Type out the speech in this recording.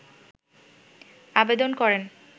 আবেদন করেন